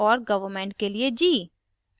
government के लिए g